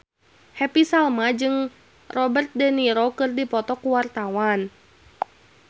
Happy Salma jeung Robert de Niro keur dipoto ku wartawan